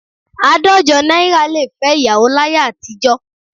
Àádọ́jọ náírà lè fẹ́ ìyàwó láyé àtijọ́